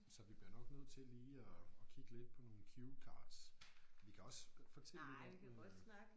Så vi bliver nok nødt til lige at at kigge lidt på nogle cue cards. Vi kan også fortælle lidt om øh